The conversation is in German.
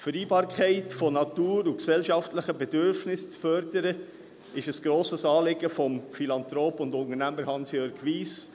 Die Vereinbarkeit von Natur und gesellschaftlichen Bedürfnissen zu fördern, ist ein grosses Anliegen des Philanthropen und Unternehmers Hansjörg Wyss;